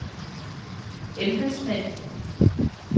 embedsmænd